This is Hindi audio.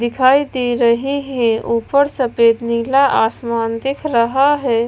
दिखाई दे रहे हैं ऊपर सफेद नीला आसमान दिख रहा है।